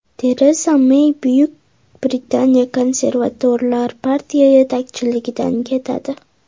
Tereza Mey Buyuk Britaniya Konservatorlar partiya yetakchiligidan ketadi.